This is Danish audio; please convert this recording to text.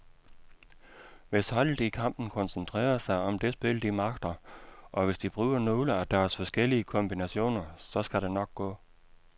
Hvis holdet i kampen koncentrerer sig om det spil, de magter, og hvis de bruger nogle af deres forskellige kombinationer, så skal det nok gå.